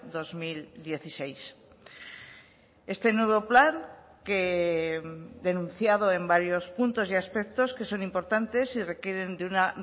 dos mil dieciséis este nuevo plan que denunciado en varios puntos y aspectos que son importantes y requieren de una